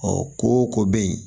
ko ko bɛ yen